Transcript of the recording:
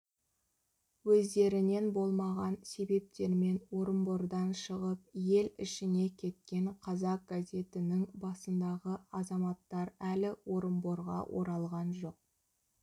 өздерінен болмаған себептермен орынбордан шығып ел ішіне кеткен қазақ газетінің басындағы азаматтар әлі орынборға оралған жоқ